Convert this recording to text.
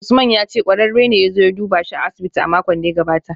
Usman ya ce kwararre ne ya zo duba shi a asibiti a makon da ya gabata